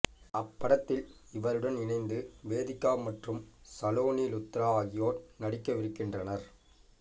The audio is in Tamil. அப்படத்தில் இவருடன் இணைந்து வேதிகா மற்றும் சலோனி லுத்ரா ஆகியோர் நடிக்கவிருக்கிறனர்